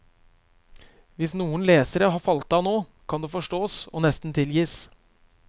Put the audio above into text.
Hvis noen lesere har falt av nå, kan det forstås og nesten tilgis.